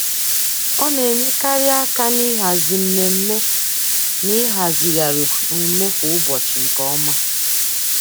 Ọ na-enyekarị aka n'ịhazi mmemme na ịhazigharị omume kwa ụbọchị nke ọma.